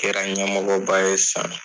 Kɛra ɲɛmɔgɔba ye San.